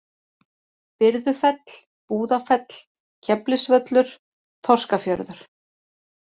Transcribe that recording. Byrðufell, Búðafell, Keflisvöllur, Þorskafjörður